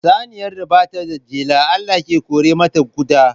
Saniyar da ba ta da jela, Allah ke kore mata ƙuda.